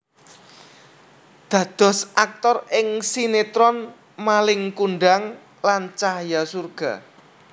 Dados aktor ing sinetron Malin Kundang lan Cahaya Surga